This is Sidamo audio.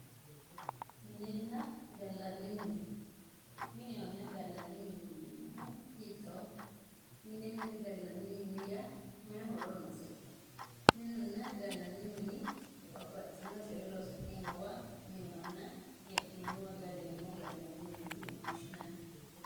minenna gallanni mine menehona gallanni mineet yineemohu hitooho minenna gallanni mine yaa mayi horo noosiho minunna gallanni mini babbaxino coyee loosi'neemowa minehonna hee'neemowa galleemowa gallanni mineeti yine woshinanni.